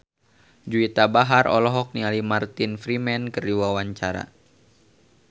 Juwita Bahar olohok ningali Martin Freeman keur diwawancara